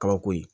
Kabako ye